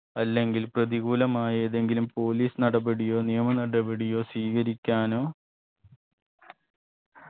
അല്ലെങ്കിൽ പ്രതികൂലമായതെങ്കിലും police നടപടിയോ നിയമ നടപടിയോ സ്വീകരിക്കാനോ